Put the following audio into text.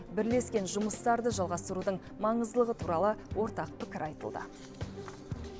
бірлескен жұмыстарды жалғастырудың маңыздылығы туралы ортақ пікір айтылды